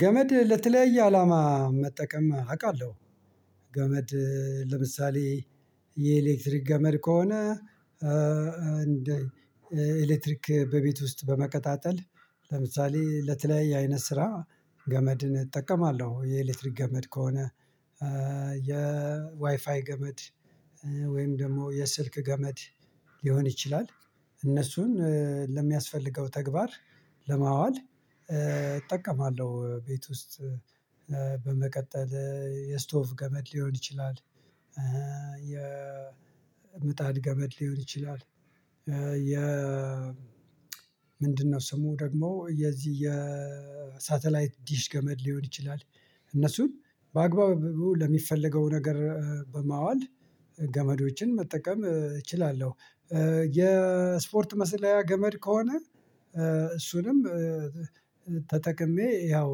ገመድ ለተለያየ አላማ መጠቀም አውቃለሁ። ገመድ ለምሳሌ የኤሌክትሪክ ገመድ ከሆነ። እንደ ኤሌክትሪክ በቤት ውስጥ በመቀጣጠል ለምሳሌ ለተለያየ አይነት ስራ ገመድን እጠቀማለሁ የኤሌክትሪክ ገመድ ከሆነ። የዋይፋይ ገመድ ወይም ደግሞ የስልክ ገመድ ሊሆን ይችላል። እነሱን ለሚያስፈልገው ተግባር ለማዋል እጠቀማለሁ ቤት ውስጥ በመቀጠል የስቶፍ ገመድ ሊሆን ይችላል። የምጣድ ገመድ ሊሆን ይችላል የ ምንድነው ስሙ? ደግሞ የዚህ የሳተላይት ዲሽ ገመድ ሊሆን ይችላል። እነሱን በአግባቡ ለሚፈለገው ነገር በማዋል ገመዶችን መጠቀም እችላለሁ። የስፖርት መሰለያ ገመድ ከሆነ እሱንም ተጠቅሜ ያው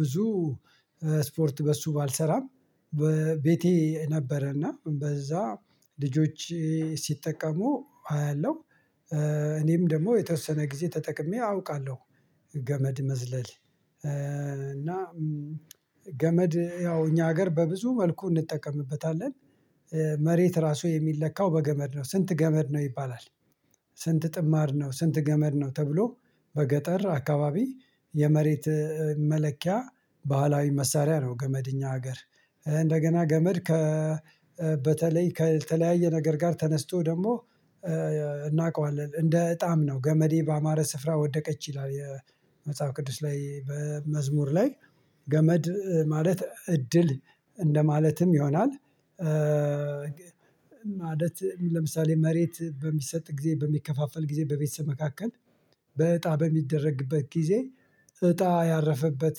ብዙ ስፖርት በሱ ባልሰራም በቤቴ ነበረና በዛ ልጆች ሲጠቀሙ አያለሁ። እኔም ደግሞ የተወሰነ ጊዜ ተጠቅሜ አውቃለሁ። ገመድ መዝለል እና ገመድ ያው እኛ ሀገር በብዙ መልኩ እንጠቀምበታለን። መሬት ራሱ የሚለካው በገመድ ነው ስንት ገመድ ነው ይባላል። ስንት ጥማር ነው ስንት ገመድ ነው ተብሎ? በገጠር አካባቢ የመሬት መለኪያ ባህላዊ መሳሪያ ነው። ገመድኛ ሀገር እንደገና ገመድ ከ በተለይ ከተለያየ ነገር ጋር ተነስቶ ደግሞ እናውቀዋለን እንደ እጣም ነው ገመዴ በአማረ ስፍራ ወደቀች ይላል የመጽሐፍ ቅዱስ ላይ በመዝሙር ላይ ገመድ ማለት እድል እንደማለትም ይሆናል። ማለት ለምሳሌ መሬት በሚሰጥ ጊዜ በሚከፋፈል ጊዜ በቤተሰብ መካከል በእጣ በሚደረግበት ጊዜ እጣ ያረፈበት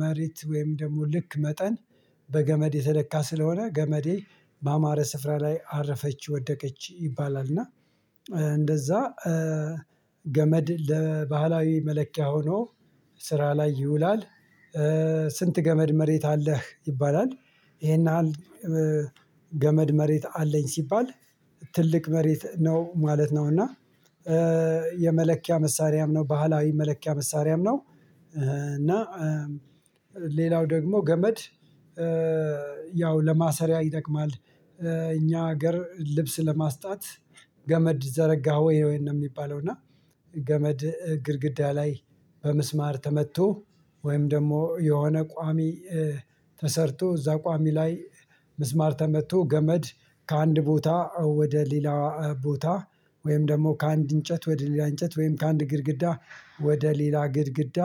መሬት ወይም ደግሞ ልክ መጠን በገመድ የተለካ ስለሆነ ገመዴ በአማረ ስፍራ ላይ አረፈች ወደቀች ይባላል። እና እንደዛ ገመድ ለባህላዊ መለኪያ ሆኖ ስራ ላይ ይውላል። ስንት ገመድ መሬት አለህ ይባላል? ይሄን ያህል ገመድ መሬት አለኝ ሲባል ትልቅ መሬት ነው ማለት ነው። እና የመለኪያ መሳሪያም ነው ባህላዊ መለኪያ መሳሪያም ነው። እና ሌላው ደግሞ ገመድ ያው ለማሰሪያ ይጠቅማል። እኛ ሀገር ልብስ ለማስጣት ገመድ ዘረጋህ ወይ ነው ነው የሚባለው። እና ገመድ ግድግዳ ላይ በመስማር ተመቶ ወይም ደግሞ የሆነ ቋሚ ተሰርቶ እዛ ቋሚ ላይ ምስማር ተመቶ ገመድ ከአንድ ቦታ ወደ ሌላ ቦታ ወይም ደግሞ ከአንድ እንጨት ወደ ሌላ እንጨት ወይም ከአንድ ግድግዳ ወደ ሌላ ግድግዳ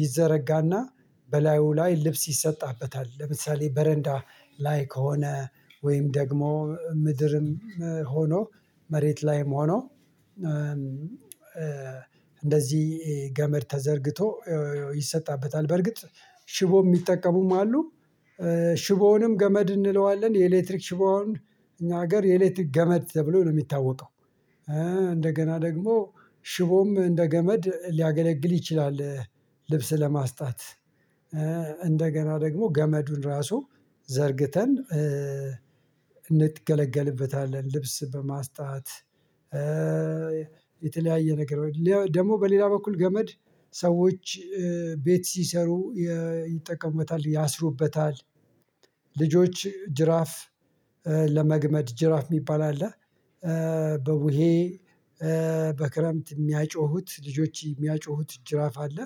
ይዘረጋና በላዩ ላይ ልብስ ይሰጣበታል። ለምሳሌ በረንዳ ላይ ከሆነ ወይም ደግሞ ምድርም ሆኖ መሬት ላይም ሆኖ እንደዚህ ገመድ ተዘርግቶ ይሰጣበታል። በርግጥ ሽቦ የሚጠቀሙም አሉ ሽቦውንም ገመድ እንለዋለን የኤሌክትሪክ ሽቦውን እኛ ሀገር የኤሌክትሪክ ገመድ ተብሎ ነው የሚታወቀው። እንደገና ደግሞ ሽቦም እንደ ገመድ ሊያገለግል ይችላል። ልብስ ለማስጣት እንደገና ደግሞ ገመዱን ራሱ ዘርግተን እንገለገልበታለን። ልብስ በማስታወት የተለያየ ነገር ደግሞ በሌላ በኩል ገመድ ሰዎች ቤት ሲሰሩ ይጠቀመበታል ያስሩበታል። ልጆች ጅራፍ ለመግመድ ጅራፍ የሚባል አለ በቡሄ በክረምት የሚያጮሁት ልጆች የሚያጮሁት ጅራፍ አለ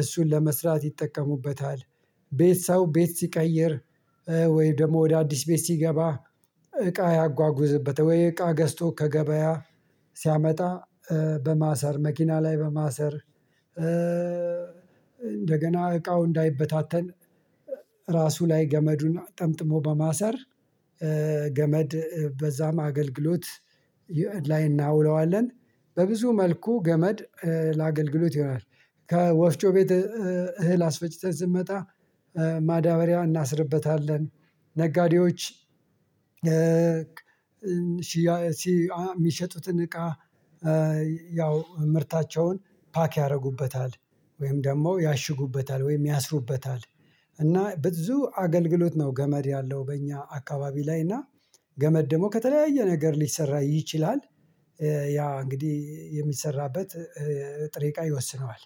እሱን ለመስራት ይጠቀሙበታል። ቤት ሰው ቤት ሲቀይር ወይ ደግሞ ወደ አዲስ ቤት ሲገባ እቃ ያጓጉዝበት ወይ እቃ ገዝቶ ከገበያ ሲያመጣ በማሰር መኪና ላይ በማሰር እንደገና እቃው እንዳይበታተን ራሱ ላይ ገመዱን ጠምጥሞ በማሰር ገመድ በዛም አገልግሎት ላይ እናውለዋለን። በብዙ መልኩ ገመድ ለአገልግሎት ይሆናል። ከወፍጮ ቤት እህል አስፈጭተን ስንመጣ ማዳበሪያ እናስርበታለን ነጋዴዎች ሲ ሲአ የሚሸጡትን እቃ ያው ምርታቸውን ፓክ ያደርጉበታል ወይም ደግሞ ያሽጉበታል ወይም ያስሩበታል። እና ብዙ አገልግሎት ነው ገመድ ያለው በእኛ አካባቢ ላይ እና ገመድ ደግሞ ከተለያየ ነገር ሊሰራ ይችላል። ያ እንግዲህ የሚሰራበት ጥሬ ቃይ ይወስነዋል